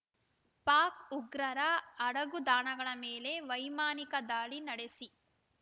ಪಾಕ್‌ ಉಗ್ರರ ಅಡಗುದಾಣಗಳ ಮೇಲೆ ವೈಮಾನಿಕ ದಾಳಿ ನಡೆಸಿ